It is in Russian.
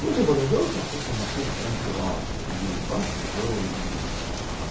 ну типа надёжность это у машины прямо главное и важно её именно